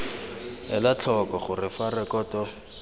ela tlhoko gore fa rekoto